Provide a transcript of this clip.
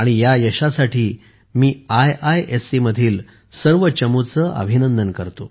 या यशासाठी मी आयआयएससी मधील सर्व चमूचे अभिनंदन करतो